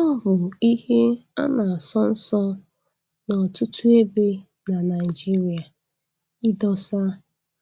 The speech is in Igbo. Ọ bụ ihe a na-asọ nsọ n'ọtụtụ ebe na Naịjirịa idosa